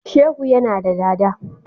Shehu yana da dada.